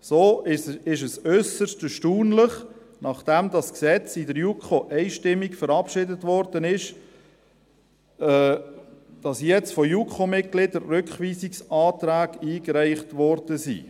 So ist es äusserst erstaunlich – nachdem das Gesetz in der JuKo einstimmig verabschiedet wurde –, dass jetzt von JuKo-Mitgliedern Rückweisungsanträge eingereicht wurden.